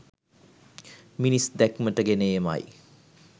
මිනිස් දැක්මට ගෙන ඒම යි